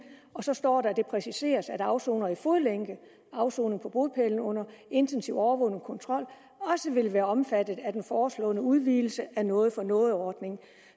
og så står der at det præciseres at afsonere i fodlænke afsoner på bopælen under intensiv overvågning og kontrol og også vil være omfattet af den foreslåede udvidelse af noget for noget ordningen